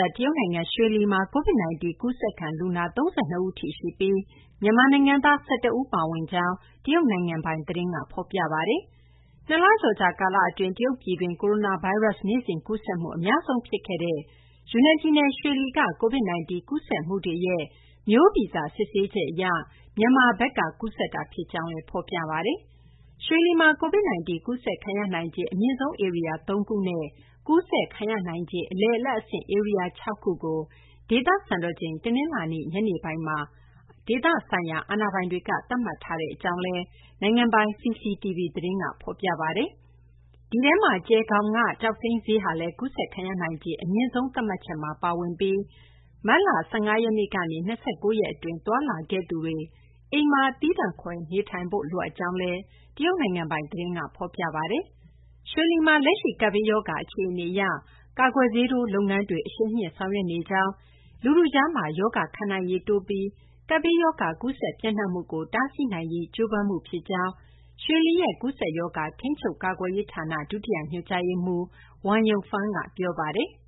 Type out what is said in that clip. ပ် တရုတ်နိုင်ငံ ရွှေလီမှာ COVID-19 ကူးစက်ခံ လူနာ ၃၂ ဦးရှိပြီး မြန်မာနိုင်ငံသား ၁၁ ဦးပါဝင်ကြောင်း တရုတ်နိုင်ငံပိုင် သတင်းက ဖော်ပြပါတယ်။ ၂ လကျော်ကြာ ကာလ အတွင်း တရုတ်ပြည်တွင်း ကိုရိုနာဗိုင်းရပ်စ် နေ့စဉ်ကူးစက်မှု အများဆုံး ဖြစ်ခဲ့တဲ့ ယူနန်ပြည်နယ် ရွှေလီက COVID-19 ကူးစက်မှုတွေရဲ့ မျိုးဗီဇ စစ်ဆေးချက် အရ မြန်မာဘက်က ကူးစက်တာ ဖြစ်ကြောင်းလည်း ဖော်ပြပါတယ်။ ရွှေလီမှာ COVID-19 ကူးစက်ခံရနိုင်ခြေ အမြင့်ဆုံး ဧရိယာ ၃ ခုနဲ့ ကူးစက်ခံရနိုင်ခြေ အလယ်အလတ်အဆင့် ဧရိယာ ၆ ခုကို ဒေသစံတော်ချိန် တနလာၤနေ့ ညနေပိုင်းမှာ ဒေသအာဏာပိုင်တွေက သတ်မှတ်ထားကြောင်း နိုင်ငံပိုင် CCTV သတင်းက ဖော်ပြပါတယ်။ ဒီထဲမှာ ကျယ်ခေါင်က ကျောက်စိမ်းဈေးဟာလည်း ကူးစက်ခံရနိုင်ခြေ အမြင့်ဆုံးသတ်မှတ်ချက်မှာ ပါဝင်ပြီး မတ်လ ၁၅ ရက်နေ့ကနေ ၂၉ ရက် အတွင်း သွားလာခဲ့သူတွေ အိမ်မှာ သီးသန့်ခွဲနေထိုင်ဖို့ လိုအပ်ကြောင်းလည်း တရုတ်နိုင်ငံပိုင် သတင်းက ဖော်ပြပါတယ်။ ရွှေလီမှာ လက်ရှိ ကပ်ဘေးရောဂါ အခြေအနေ အရ ကာကွယ်ဆေးထိုး လုပ်ငန်းတွေ အရှိန်မြှင့်ဆောင်ရွက်နေကြောင်း၊ လူထုကြား ရောဂါခံနိုင်ရည် တိုးပြီး ကပ်ဘေးရောဂါ ကူးစက် ပျံ့နှံ့မှုကို တားဆီးနိုင်ရေး ကြိုးပမ်းမှု ဖြစ်ကြောင်း ရွှေလီရဲ့ ကူးစက်ရောဂါ ထိန်းချုပ် ကာကွယ်ရေးဌာန ဒုတိယ ညွှန်ကြားရေးမှူး Wan Yongfang ကပြောပါတယ်။